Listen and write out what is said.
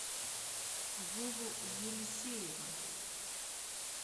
вову елисеева